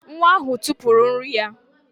Nwa ahụ tụpụrụ nri ya